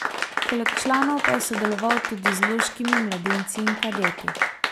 Poleg članov pa je sodeloval tudi z loškimi mladinci in kadeti.